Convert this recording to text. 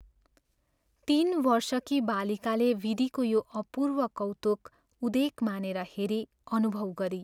तीन वर्षकी बालिकाले विधिको यो अपूर्व कौतुक उदेक मानेर हेरी अनुभव गरी।